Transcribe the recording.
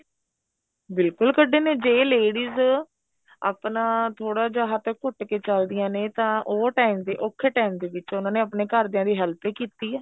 ਬਿਲਕੁਲ ਕੱਡੇ ਨੇ ਜੇ ladies ਆਪਣਾ ਥੋੜਾ ਜਾ ਹੱਥ ਘੁੱਟ ਕੇ ਚਲਦੀਆਂ ਨੇ ਤਾਂ ਉਹ time ਤੇ ਔਖੇ time ਦੇ ਵਿੱਚ ਉਹਨਾ ਨੇ ਆਪਣੇ ਘਰਦਿਆ ਦੀ help ਈ ਕੀਤੀ ਏ